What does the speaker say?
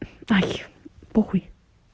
ай похуй